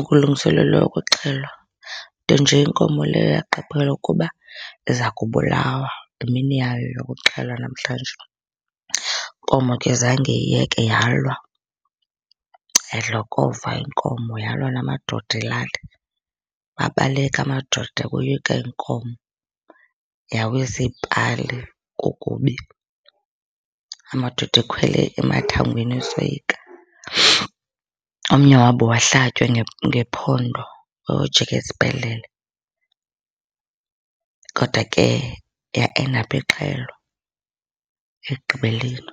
ukulungiselelwa ukuxhelwa, nto nje inkomo leyo yaqaphela ukuba ndiza kubulawa, yimini yayo yokuxhelwa namhlanje. Inkomo ke zange iyeke yalwa, yadlokova inkomo, yalwa namadoda elali. Babaleka amadoda, oyika inkomo. Yawisa iipali, kukubi. Amadoda ekhwele amathangweni esoyika. Omnye wabo wahlatywa ngephondo wayojika esibhedlele. Kodwa ke yaendapha ixhelwa ekugqibeleni.